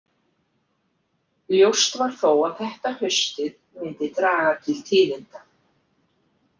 Ljóst var þó að þetta haustið myndi draga til tíðinda.